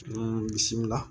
Ni misila